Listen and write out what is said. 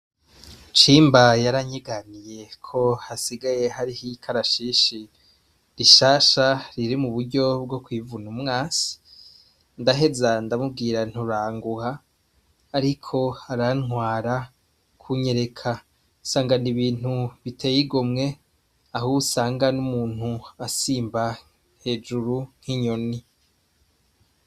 chimba yaranyiganiye ko hasigaye hari hikarashishi rishasha riri mu buryo bwo kuivuna umwasi .Ndaheza ndamubwira nturanguha ariko arantwara kunyereka sangana ibintu biteye igomwe aho usanga n'umuntu asimba hejuru nk'inyoni.